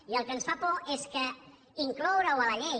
i el que ens fa por és que incloure ho a la llei